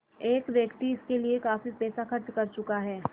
एक व्यक्ति इसके लिए काफ़ी पैसा खर्च कर चुका है